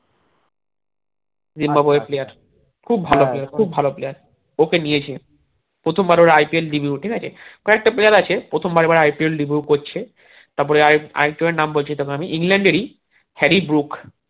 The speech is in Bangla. জিম্বাবয়ের player খুব খুব ভালো player ওকে দিয়েছে প্রথম বারে ওর IPL ঠিক আছে কয়েকটা player আছে প্রথম বার এবার IPLreview করছে তারপরে আরেক আরেক জনের নাম বলছি তোকে আমি ইংল্যান্ডের ই হ্যারি ব্রুক